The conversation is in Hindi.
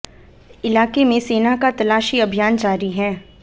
इलाके में सेना का तलाशी अभियान जारी है